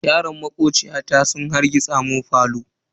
Yaran makociyata sun harrgitsa mun falo.